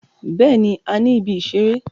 Bẹẹni, a ni ìbí isẹ̀rẹ̀.